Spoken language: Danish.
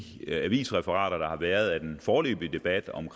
avisreferater der har været af den foreløbige debat om